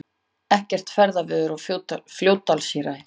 Ekkert ferðaveður á Fljótsdalshéraði